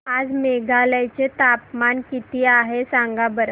आज मेघालय चे तापमान किती आहे सांगा बरं